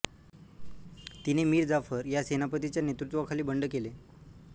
तिने मीर जाफर ह्या सेनापतीच्या नेतृत्वाखाली बंड केले